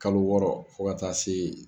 Kalo wɔɔrɔ fo ka taa se